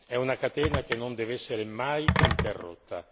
È una catena che non deve essere mai interrotta.